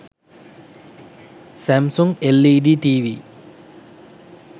samsung led tv